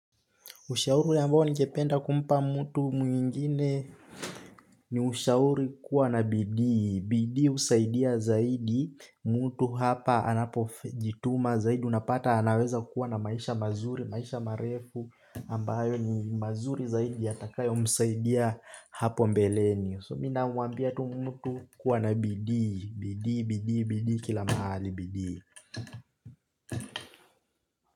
Ushauri ambao ningependa kumpa mtu mwingine ni ushauri kuwa na bidii. Bidii husaidia zaidi mtu hapa anapojituma zaidi. Unapata anaweza kuwa na maisha mazuri, maisha marefu. Ambayo ni mazuri zaidi yatakayo msaidia hapo mbeleni. So mimi na mwambia tu mtu kuwa na bidii. Bidii, Bidii, Bidii, kila mahali bidii.